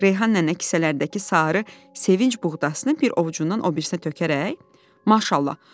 Reyhan nənə kisələrdəki sarı, sevinci buğdasını bir ovucundan o birisinə tökərək, maşallah.